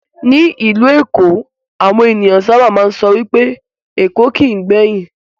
Ní ìlú èkó, àwọn ènìyàn sábà máa ń sọ wipé "Èkó kìí gbẹ̀yìn",